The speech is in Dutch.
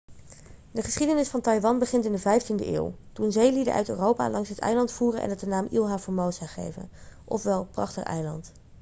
de geschiedenis van taiwan begint in de 15e eeuw toen zeelieden uit europa langs het eiland voeren en het de naam ilha formosa gaven ofwel prachtig eiland